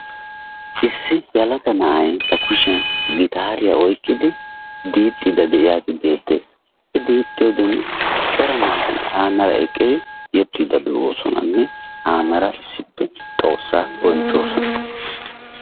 Issi yelaga na'ay ba kushshiyaan itaariyaa oyqqidi diixxide de'iyaage beettes. I diixxiyoode cora naati aanara eqqidi aanara issipe Xoossaa Bonchchoosona.